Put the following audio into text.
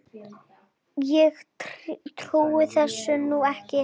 Ég trúi þessu nú ekki!